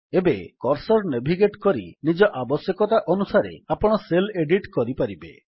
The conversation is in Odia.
ଏବେ କର୍ସର୍ ନେଭିଗେଟ୍ କରି ନିଜ ଆବଶ୍ୟକତା ଅନୁସାରେ ଆପଣ ସେଲ୍ ଏଡିଟ୍ କରିପାରିବେ